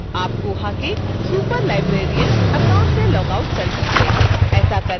अब आप koha के superlibrarian account से लॉगआउट कर सकते हैं